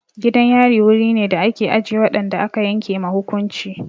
Gidan yari wuri ne da ake ajiye waɗanda aka yanke ma hukunci.